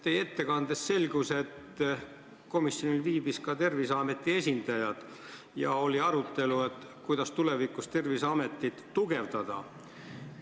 Teie ettekandest selgus, et komisjoni istungil viibis ka Terviseameti esindaja ja oli arutelu selle üle, kuidas tulevikus Terviseametit tugevdada.